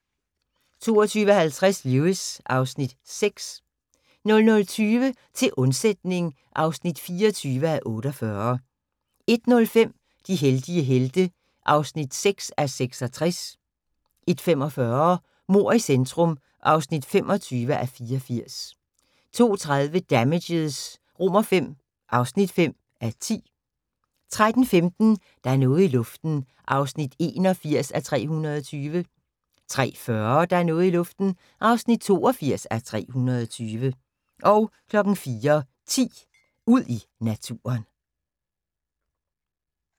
22:50: Lewis (Afs. 6) 00:20: Til undsætning (24:48) 01:05: De heldige helte (6:66) 01:45: Mord i centrum (25:84) 02:30: Damages V (5:10) 03:15: Der er noget i luften (81:320) 03:40: Der er noget i luften (82:320) 04:10: Ud i naturen